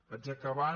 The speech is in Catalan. vaig acabant